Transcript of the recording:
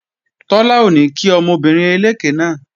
Tọ́lá ò ní kí obìnrin eléké náà